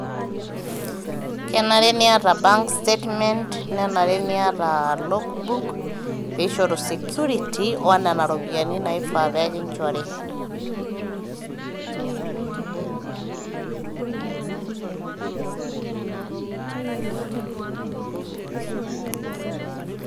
kenare niata bank statement nenare niata logbook peshoru security onena ropiyiani naifaa pekinchori